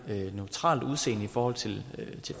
neutralt udseende i forhold til